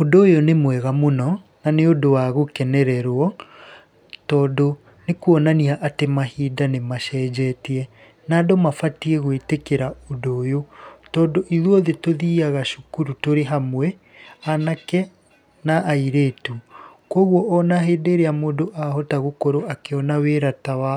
Ũndũ ũyũ nĩ mwega mũno, na nĩ ũndũ wa gũkenererwo, tondũ nĩ kuonania atĩ mahinda nĩ macenjetie. Na andũ mabatiĩ gwĩtĩkĩra ũndũ ũyũ, tondũ ithuothe tũthiaga cukuru tũrĩ hamwe, anake na airĩtu. Koguo ona hĩndĩ ĩrĩa mũndũ ahota gũkorwo akĩona wĩra ta wa